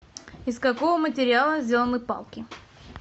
из какого материала сделаны палки